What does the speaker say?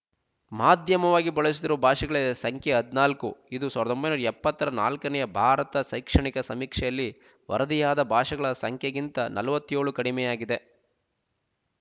ಮಾಧ್ಯಮವಾಗಿ ಬಳಸುತ್ತಿರುವ ಭಾಷೆಗಳ ಸಂಖ್ಯೆ ಹದಿನಾಲ್ಕು ಇದು ಸಾವಿರದ ಒಂಬೈನೂರ ಎಪ್ಪತ್ತರ ನಾಲ್ಕನೆಯ ಭಾರತ ಶೈಕ್ಷಣಿಕ ಸಮೀಕ್ಷೆಯಲ್ಲಿ ವರದಿಯಾದ ಭಾಷೆಗಳ ಸಂಖ್ಯೆಗಿಂತ ನಲ್ವತ್ತೆಳು ಕಡಿಮೆಯಾಗಿದೆ